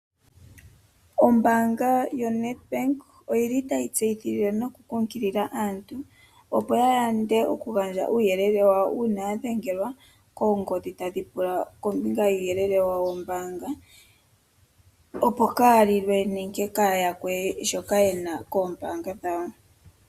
Ombaanga yoNedBank oyili tayi kunkilile nokutseyithila aantu opo ya yande okugandja uuyelele wawo uuna ya dhengelwa koongodhi tadhi pula kombinga yuuyelele woombaanga opo ka ya lilwe nenge kaaya yakwe shoka ye na koombaanga dhawo.